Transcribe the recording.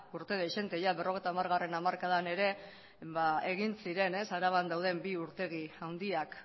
urte dezente ya berrogeita hamar hamarkadan ere ba egin ziren araban dauden bi urtegi handiak